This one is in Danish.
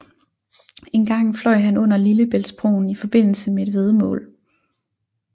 Engang fløj han under Lillebæltsbroen i forbindelse med et væddemål